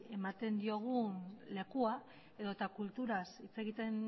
ematen diogun lekua edota kulturaz hitz egiten